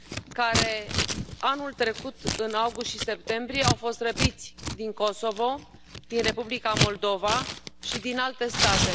care anul trecut în august și septembrie au fost răpiți din Kosovo, din Republica Moldova și din alte state.